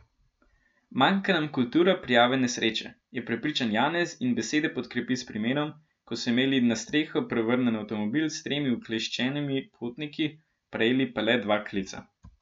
Manjka nam kultura prijave nesreče, je prepričan Janez in besede podkrepi s primerom, ko so imeli na streho prevrnjen avtomobil s tremi ukleščenimi potniki, prejeli pa le dva klica.